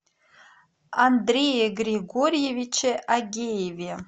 андрее григорьевиче агееве